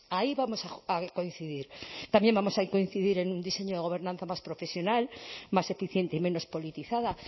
ahí vamos a coincidir también vamos a coincidir en un diseño de gobernanza más profesional más eficiente y menos politizada